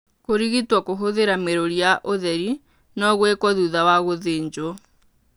Kũrigitwo kũhũthĩra mĩrũri ya ũtheri no gũĩkwo thutha wa gũthĩnjwo.